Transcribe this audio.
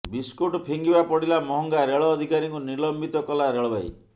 biscuit ଫିଙ୍ଗିବା ପଡିଲା ମହଙ୍ଗା ରେଳ ଅଧିକାରୀଙ୍କୁ ନିଲମ୍ବିତ କଲା ରେଳବାଇ